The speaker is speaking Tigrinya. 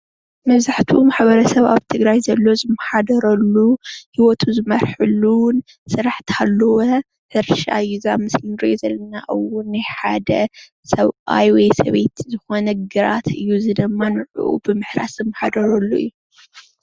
መመብዛሕትኡ ማሕበረሰብ አብ ትግራይ ዘሎ ዝመማሓደረሉ ሂወቱ ዝመርሐሉን ስራሕ እንተሃለወ ሕርሻ እዩ። እዚ አብ ምስሊ እንርእዮ ዘለና እውን ናይ ሓደ ሰብአይ ወይ ሰበይቲ ዝኾነ ግራት እዩ። እዚ ድማ ንዑኡ ብምሕራስ ዝመሓደረሉ እዩ።